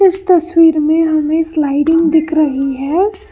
इस तस्वीर में हमें स्लाइडिंग दिख रही है।